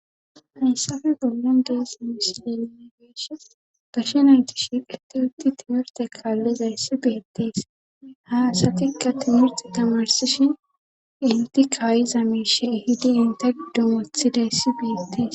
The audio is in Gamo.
Hayssafe gollan dees mish lelile geesh barsh nayti shiq itti utti timirte kaallizayssi beyettees ha asatikka timirti tamarsishin inti kaayi zamishe ehidi inta giddumothidayssi biyettees.